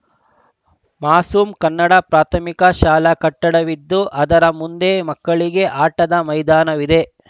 ಮಾಸೂಮ್‌ ಕನ್ನಡ ಪ್ರಾಥಮಿಕ ಶಾಲಾ ಕಟ್ಟಡವಿದ್ದು ಅದರ ಮುಂದೆ ಮಕ್ಕಳಿಗೆ ಆಟದ ಮೈದಾನವಿದೆ